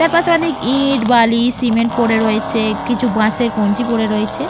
চারপাশে অনেক ইঁট বালি সিমেন্ট পরে রয়েছে কিছু বাঁশের কঞ্চি পরে রয়েছে।